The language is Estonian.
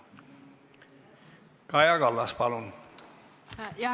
Kaja Kallas, palun!